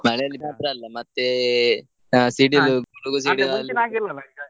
ಮಳೆಯಲ್ಲಿ ಮಾತ್ರ ಅಲ್ಲ ಮತ್ತೆ, ಹಾ .